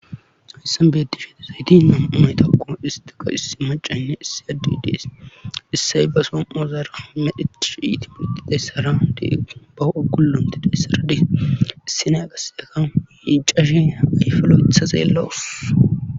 hissan beedi shete zayti nam7umay taqo istiqa issi macanne issi addi dees issay ba som7o zaara medheti sh iti milqitayssara de bah7o gullonti deessaradi issinaa qase aka yiicashe ayfallo7itha zeellawus